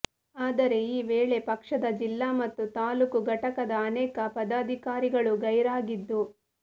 ಆದರೆ ಈ ವೇಳೆ ಪಕ್ಷದ ಜಿಲ್ಲಾ ಮತ್ತು ತಾಲ್ಲೂಕು ಘಟಕದ ಅನೇಕ ಪದಾಧಿಕಾರಿಗಳು ಗೈರಾಗಿದ್ದು